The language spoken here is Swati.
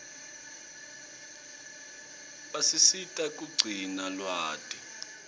basisita kugcina lwati